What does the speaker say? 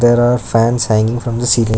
There are fans hanging from the ceiling.